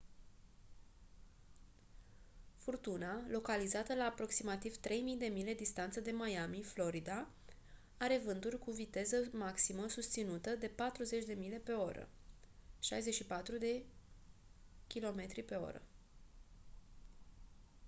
furtuna localizată la aproximativ 3 000 de mile distanță de miami florida are vânturi cu viteză maximă susținută de 40 mph 64 kph